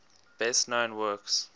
best known works